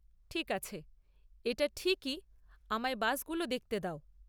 ঠিক আছে, এটা ঠিকই, আমায় বাসগুলো দেখতে দাও।